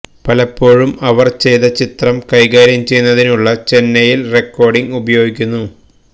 പലപ്പോഴും അവർ ചെയ്ത ചിത്രം കൈകാര്യം ചെയ്യുന്നതിനുള്ള ചെന്നൈയില് റെക്കോർഡിംഗ് ഉപയോഗിക്കുന്നു